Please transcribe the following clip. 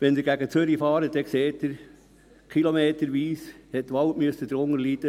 Wenn Sie nach Zürich fahren, sehen Sie, dass der Wald kilometerweise darunter leiden musste: